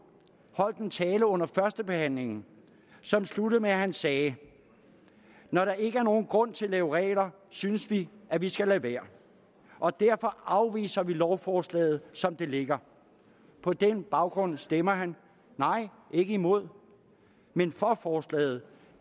holdt en tale under førstebehandlingen som sluttede med at han sagde når der ikke er nogen grund til at lave regler synes vi at vi skal lade være og derfor afviser vi lovforslaget som det ligger på den baggrund stemmer han nej ikke imod men for forslaget